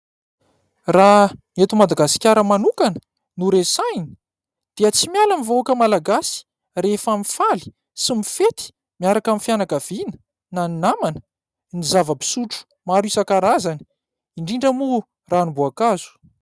Raha ny eto Madagasikara manokana no resahina, dia tsy miala ny vahoaka Malagasy rehefa mifaly sy mifety miaraka amin'ny fianakaviana, na ny namana ny zava-pisotro maro isan-karazany indrindra moa ranomboakazo.